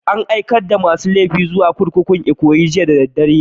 An aikar da masun laifuka da yawa zuwa kurkukun Ikoyi jiya da dare.